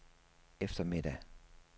eftermiddag